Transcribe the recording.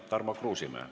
Tarmo Kruusimäe.